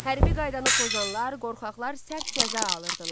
Hərbi qaydanı pozanlar, qorxaqlar sərt cəza alırdılar.